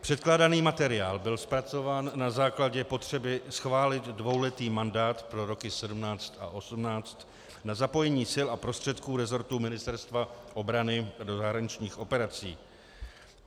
Předkládaný materiál byl zpracován na základě potřeby schválit dvouletý mandát pro roky 2017 a 2018 na zapojení sil a prostředků resortu Ministerstva obrany do zahraničních operací.